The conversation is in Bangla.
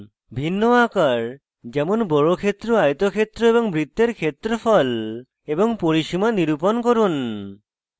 ভিন্ন আকার যেমন বর্গক্ষেত্র আয়তক্ষেত্র এবং বৃত্তের ক্ষেত্রফল এবং পরিসীমা নিরুপন করুন